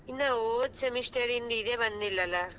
ಇನ್ನ ಹೋದ್ semester ದು ಇದೆ ಬಂದಿಲ್ಲ ಅಲಾ.